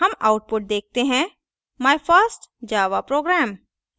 हम output देखते हैं my first java program!